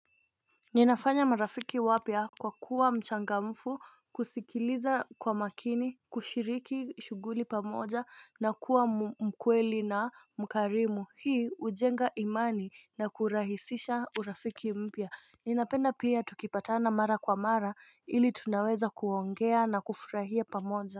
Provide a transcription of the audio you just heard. Ninafanya marafiki wapya kwa kuwa mchangamfu kusikiliza kwa makini, kushiriki shughuli pamoja, na kuwa mkweli na mkarimu. Hii hujenga imani na kurahisisha urafiki mpya. Ninapenda pia tukipatana mara kwa mara ili tunaweza kuongea na kufurahia pamoja.